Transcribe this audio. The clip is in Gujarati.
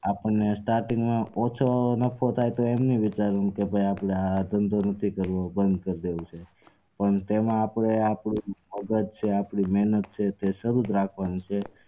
આપણને starting માં ઓછો નફો થાય તો એમ નહીં વિચારવું કે આપડે આ ધંધો નથી કરવો બંદ કરી દઈએ પણ તેમાં આપડે આગળ આપડી મેહનત છે શરુ જ રાખવાની છે